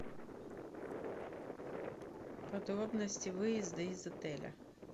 подробности выезда из отеля